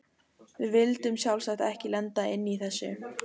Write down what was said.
Við vildum sjálfsagt ekki lenda inni í þessu!